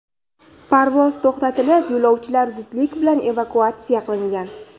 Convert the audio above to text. Parvoz to‘xtatilib, yo‘lovchilar zudlik bilan evakuatsiya qilingan.